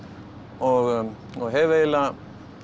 og og hef eiginlega